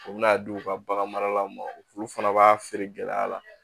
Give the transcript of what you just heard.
U bɛ n'a di u ka bagan maralaw ma olu fana b'a feere gɛlɛya la